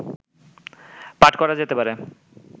পাঠ করা যেতে পারে